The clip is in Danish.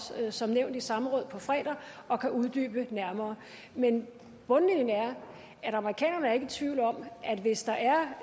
som nævnt i samråd på fredag og kan uddybe det nærmere men bundlinjen er at amerikanerne ikke er i tvivl om at hvis der er